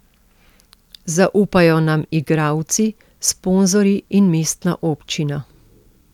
Zaupajo nam igralci, sponzorji in mestna občina.